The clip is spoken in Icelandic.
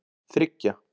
þriggja